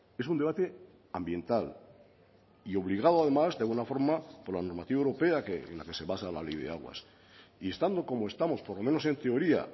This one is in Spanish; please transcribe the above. es un debate ambiental y obligado además de una forma por la normativa europea en la que se basa la ley de aguas y estando como estamos por lo menos en teoría